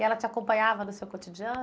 E ela te acompanhava no seu cotidiano?